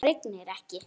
Það rignir ekki.